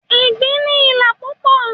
Egbin ni ìlà púpò